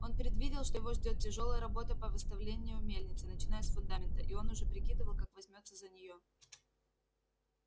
он предвидел что его ждёт тяжёлая работа по восстановлению мельницы начиная с фундамента и он уже прикидывал как возьмётся за неё